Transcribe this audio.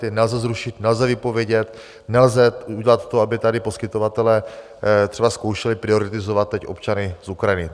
Ty nelze zrušit, nelze vypovědět, nelze udělat to, aby tady poskytovatelé třeba zkoušeli prioritizovat teď občany z Ukrajiny.